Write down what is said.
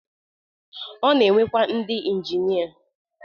O na-enwekwa ndi injinia